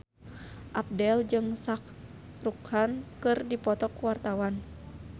Abdel jeung Shah Rukh Khan keur dipoto ku wartawan